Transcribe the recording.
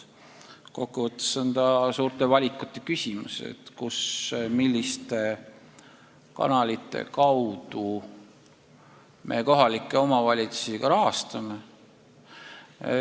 Kokkuvõttes on tegu suure valikuküsimusega, milliste kanalite kaudu me kohalikke omavalitsusi rahastame.